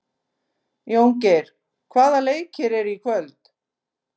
Jóngeir, hvaða leikir eru í kvöld?